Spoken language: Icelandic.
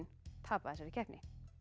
tapa í þessari keppni